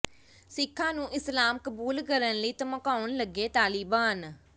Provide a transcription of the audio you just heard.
ਸਿੱਖਾਂ ਨੂੰ ਇਸਲਾਮ ਕਬੂਲ ਕਰਨ ਲਈ ਧਮਕਾਉਣ ਲੱਗੇ ਤਾਲਿਬਾਨ